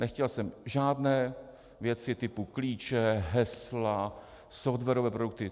Nechtěl jsem žádné věci typu klíče, hesla, softwarové produkty.